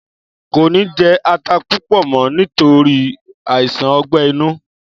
Kò ní jé ata púpò mọ nítorí àìsàn ogbè inú